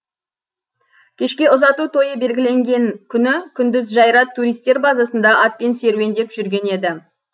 кешке ұзату тойы белгіленген күні күндіз жайрат туристер базасында атпен серуендеп жүрген еді